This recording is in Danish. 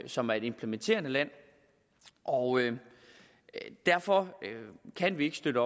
som er et implementerende land og derfor kan vi ikke støtte